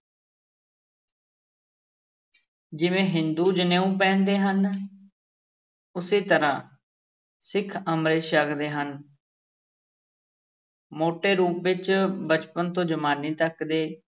ਜਿਵੇਂ ਹਿੰਦੂ ਜਨੇਊ ਪਹਿਨਦੇ ਹਨ ਉਸੇ ਤਰ੍ਹਾਂ ਸਿੱਖ ਅੰਮ੍ਰਿਤ ਛਕਦੇ ਹਨ ਮੋਟੇ ਰੂਪ ਵਿੱਚ ਬਚਪਨ ਤੋਂ ਜਵਾਨੀ ਤੱਕ ਦੇ